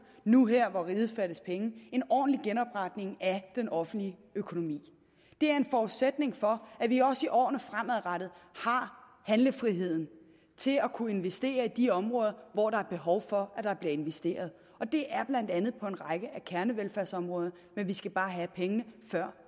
nu her hvor riget fattes penge en ordentlig genopretning af den offentlige økonomi det er en forudsætning for at vi også i årene fremadrettet har handlefriheden til at kunne investere i de områder hvor der er behov for at der bliver investeret og det er blandt andet på en række af kernevelfærdsområderne men vi skal bare have pengene før